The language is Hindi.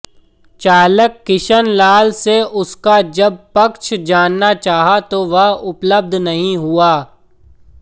चालक किशन लाल से उसका जब पक्ष जानना चाहा तो वह उपलब्ध नहीं हुआ